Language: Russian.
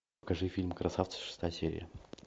покажи фильм красавцы шестая серия